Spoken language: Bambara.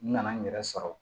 N nana n yɛrɛ sɔrɔ